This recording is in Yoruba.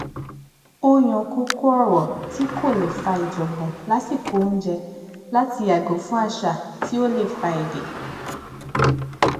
ó yan kókó ọrọ tí kò lè fà ìjọngbọn lásìkò oúnjẹ láti yàgò fún àṣà tí ó lè fa èdè